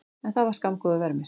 En það var skammgóður vermir.